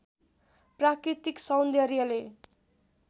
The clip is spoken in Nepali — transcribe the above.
प्राकृतिक सौन्दर्यले